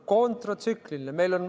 Kontratsüklilisest!